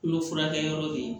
Kolo furakɛyɔrɔ bɛ yen